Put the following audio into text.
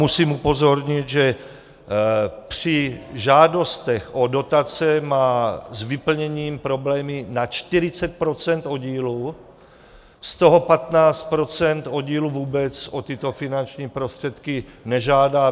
Musím upozornit, že při žádostech o dotace má s vyplněním problémy na 40 % oddílů, z toho 15 % oddílů vůbec o tyto finanční prostředky nežádá.